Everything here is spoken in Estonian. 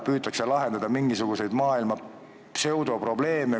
Püütakse lahendada mingisuguseid muu maailma pseudoprobleeme.